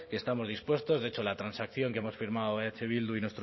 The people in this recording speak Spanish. que estamos dispuestos de hecho la transacción que hemos firmado eh bildu y